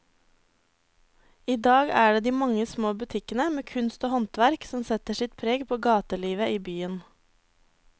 I dag er det de mange små butikkene med kunst og håndverk som setter sitt preg på gatelivet i byen.